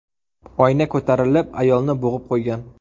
Oyna ko‘tarilib ayolni bo‘g‘ib qo‘ygan.